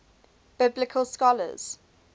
biblical scholars